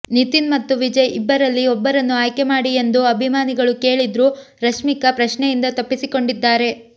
ನಿತಿನ್ ಮತ್ತು ವಿಜಯ್ ಇಬ್ಬರಲ್ಲಿ ಒಬ್ಬರನ್ನು ಆಯ್ಕೆ ಮಾಡಿ ಎಂದು ಅಭಿಮಾನಿಗಳು ಕೇಳಿದ್ರೂ ರಶ್ಮಿಕಾ ಪ್ರಶ್ನೆಯಿಂದ ತಪ್ಪಿಸಿಕೊಂಡಿದ್ದಾರೆ